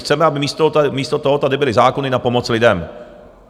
Chceme, aby místo toho tady byly zákony na pomoc lidem.